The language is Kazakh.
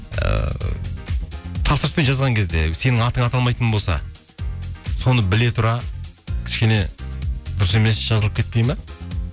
ііі тапсырыспен жазған кезде сенің атың аталмайтын болса соны біле тұра кішкене дұрыс емес жазылып кетпейді ме